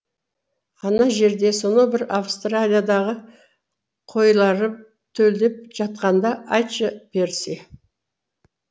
ана жерде сонау бір австралиядағы қойлары төлдеп жатқанда айтшы перси